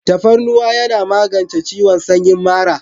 Tafarnuwan yana magance ciwon samyin mara.